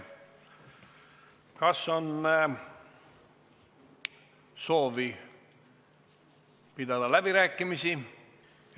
Kas on soovi pidada läbirääkimisi?